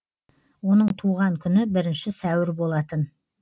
оның туған күні бірінші сәуір болатын